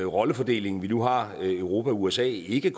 rollefordeling vi nu har europa og usa ikke